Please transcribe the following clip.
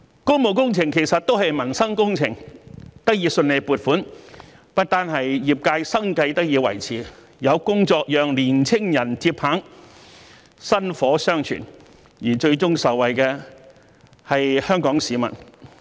工務工程其實都是民生工程，得以順利獲得撥款，不單令業界生計得以維持，亦有工作讓年青人接棒，薪火相傳，而最終受惠的是香港市民。